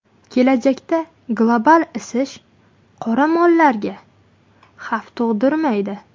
Kelajakda global isish qoramollarga xavf tug‘dirmaydi.